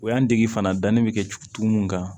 O y'an dege fana danni bɛ kɛ tugu mun kan